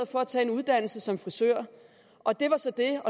for at tage en uddannelse som frisør og det var så det